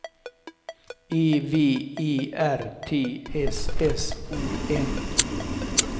E V E R T S S O N